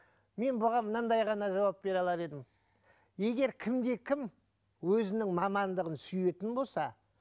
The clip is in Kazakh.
мен бұған мынандай ғана жауап бере алар едім егер кім де кім өзінің мамандығын сүйетін болса